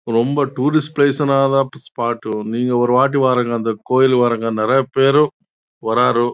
ரொம்ப tourist spot ஒரு வாட்டி வருங்க கோவில் பாருங்க நெறைய பேரு வராரு